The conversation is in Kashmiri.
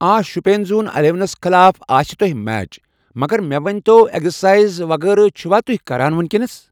آ شُپیَن زون اَلیوَنَس خلاف آسہِ تۄہہِ میچ مگر مےٚ ؤنۍ تو ایکزَرسایز وغیرہ چھُوا کَران تۄہہِ وٕنکٮ۪س۔